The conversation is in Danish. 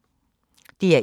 DR1